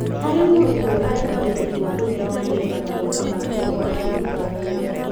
hari mũrutwo ari na ũhoti wa gũthiĩ na mbere na mathomo make o akĩrũtaga wĩra.